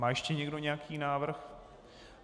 Má ještě někdo nějaký návrh?